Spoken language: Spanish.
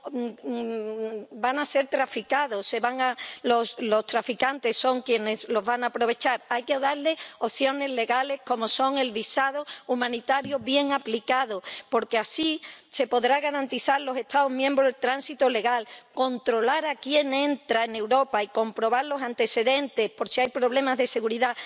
van a ser víctimas del tráfico de personas, los traficantes son quienes lo van a aprovechar. Hay que darles opciones legales, como el visado humanitario bien aplicado, porque así se podrá garantizar en los Estados miembros el tránsito legal, controlar a quien entra en Europa y comprobar los antecedentes, por si hay problemas de seguridad.